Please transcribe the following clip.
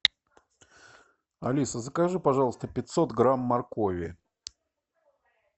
алиса закажи пожалуйста пятьсот грамм моркови